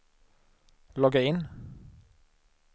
logga in